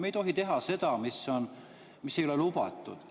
Me ei tohi teha seda, mis ei ole lubatud.